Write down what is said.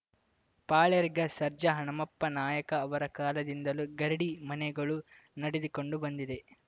ಪಾಳ್ಳೇರ್ಗಾ ಸರ್ಜಾ ಹನುಮಪ್ಪ ನಾಯಕ ಅವರ ಕಾಲದಿಂದಲೂ ಗರಡಿ ಮನೆಗಳು ನಡೆದುಕೊಂಡು ಬಂದಿದೆ